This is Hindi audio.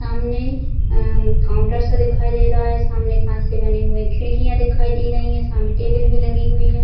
सामने अ काउंटर सा दिखाई दे रहा है सामने काँच से बनी हुईं खिड़किया दिखाई दे रही है सामने टेबल भी लगी हुई है।